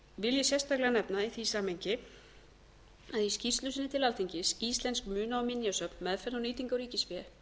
vil ég sérstaklega nefna í því samhengi að í skýrslu sinni til alþingis íslensk muna og minjasöfn meðferð og nýting á ríkisfé